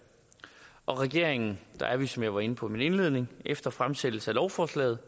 og i regeringen har vi som jeg var inde på i min indledning efter fremsættelsen af lovforslaget